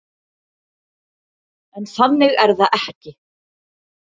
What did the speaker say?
En þannig er það ekki.